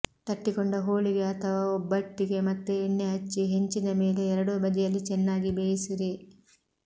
ತಟ್ಟಿಕೊಂಡ ಹೋಳಿಗೆ ಅಥವಾ ಒಬ್ಬಟ್ಟಿಗೆ ಮತ್ತೆ ಎಣ್ಣೆ ಹಚ್ಚಿ ಹೆಂಚಿನ ಮೇಲೆ ಎರಡೂ ಬದಿಯಲ್ಲಿ ಚೆನ್ನಾಗಿ ಬೇಯಿಸಿರಿ